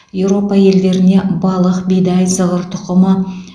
еуропа елдеріне балық бидай зығыр тұқымы